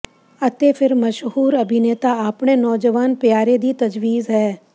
ਅਤੇ ਫਿਰ ਮਸ਼ਹੂਰ ਅਭਿਨੇਤਾ ਆਪਣੇ ਨੌਜਵਾਨ ਪਿਆਰੇ ਦੀ ਤਜਵੀਜ਼ ਹੈ